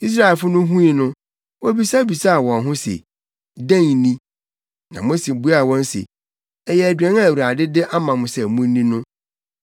Israelfo no hui no, wobisabisaa wɔn ho wɔn ho se, “Dɛn ni?” Na Mose buaa wɔn se, “Ɛyɛ aduan a Awurade de ama mo sɛ munni no.